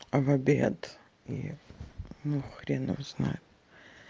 в обед и ну хрен его знает